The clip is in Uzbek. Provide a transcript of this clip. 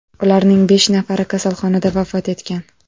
Ularning besh nafari kasalxonada vafot etgan.